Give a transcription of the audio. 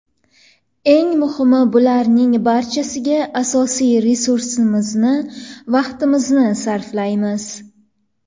Eng muhimi bularning barchasiga asosiy resursimizni vaqtimizni sarflaymiz.